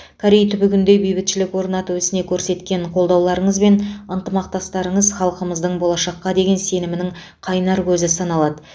корей түбегінде бейбітшілік орнату ісіне көрсеткен қолдауларыңыз бен ынтымақтастықтарыңыз халқымыздың болашаққа деген сенімінің қайнар көзі саналады